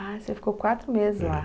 Ah, você ficou quatro meses lá.